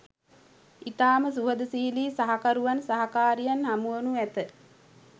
ඉතාම සුහදශීලී සහකරුවන් සහකාරියන් හමුවනු ඇත